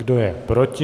Kdo je proti?